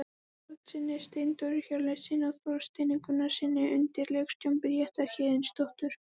Karlssyni, Steindóri Hjörleifssyni og Þorsteini Gunnarssyni undir leikstjórn Bríetar Héðinsdóttur.